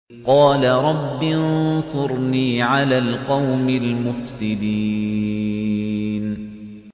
قَالَ رَبِّ انصُرْنِي عَلَى الْقَوْمِ الْمُفْسِدِينَ